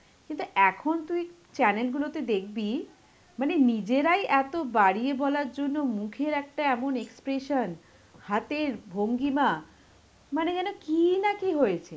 কিন্তু এখন তুই channel গুলোতে দেখবি মানে নিজেরাই এত বাড়িয়ে বলার জন্য মুখের একটা এমন expression, হাতের ভঙ্গিমা, মানে যেন কিনা কি হয়েছে.